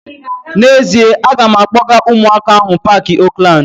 N'ezie, a ga m akpọga ụmụaka ahu paaki Oakland